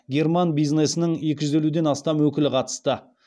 герман бизнесінің екі жүз елуден астам өкілі қатысты